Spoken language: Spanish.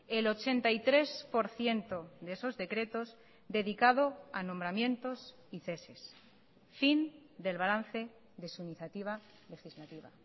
el ochenta y tres por ciento de esos decretos dedicado a nombramientos y ceses fin del balance de su iniciativa legislativa